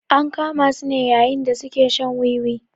An kama su ne yayin da su ke shan wiwi.